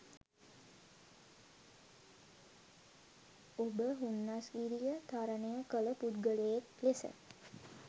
ඔබ හුන්නස්ගිරිය තරණය කල පුද්ගලයෙක් ලෙස